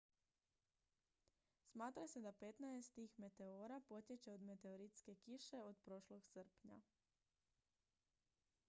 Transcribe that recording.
smatra se da petnaest tih meteora potječe od meteoritske kiše od prošlog srpnja